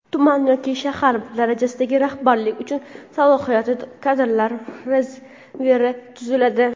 Tuman yoki shahar darajasidagi rahbarlik uchun Salohiyatli kadrlar rezervi tuziladi:.